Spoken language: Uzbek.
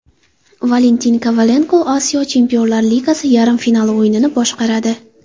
Valentin Kovalenko Osiyo Chempionlar Ligasi yarim finali o‘yinini boshqaradi.